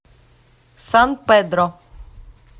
сан педро